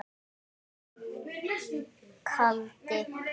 Bjössi kaldi.